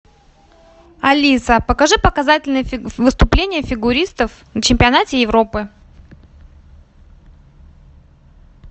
алиса покажи показательные выступления фигуристов на чемпионате европы